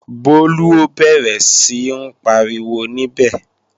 Bólú ó bẹ̀rẹ̀ sí ń pariwo níbẹ̀